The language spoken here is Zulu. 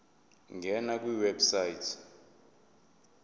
ngena kwiwebsite yesars